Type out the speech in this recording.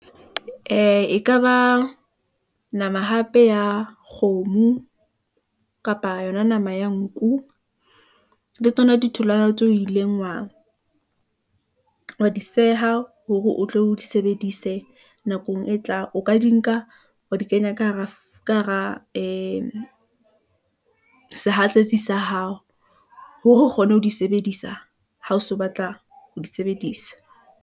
Ee, ekaba nama hape ya kgomo kapa yona nama ya nku , le tsona ditholwana tseo o ileng wa di seha hore o tlo di sebedise nakong e tlang, o ka di nka wa di kenya ka hara sehatsetsi sa hao , hore o kgone ho di sebedisa ha o so batla ho di sebedisa.